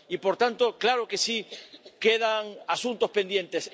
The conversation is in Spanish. Y, por tanto, claro que sí quedan asuntos pendientes.